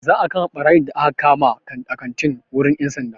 Za'a kai ɓarayin da aka kama a kantin wurin 'yan sanda.